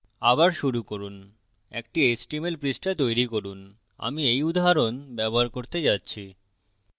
আবার শুরু করুন একটি html পৃষ্ঠা তৈরী করুন আমি এই উদাহরণ ব্যবহার করতে যাচ্ছি